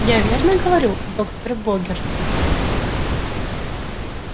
я верно говорю доктор богерт